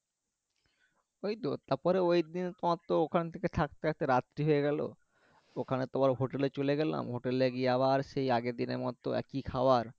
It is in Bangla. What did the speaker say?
ওই তো তারপরে ওই দিন তোমার তো ওখান থেকে থাকতে থাকতে রাত্রি হয়ে গেলো ওখানে তোমার হোটেলে চলে গেলাম হোটেলে গিয়ে আবার সেই আগের দিনের মতো একই খাওয়ার